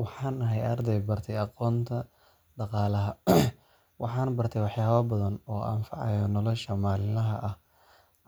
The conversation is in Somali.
Waxaan ahay arday bartay aqoonta dhaqaalaha, waxaana bartay waxyaabo badan oo anfacaya nolosha maalinlaha ah.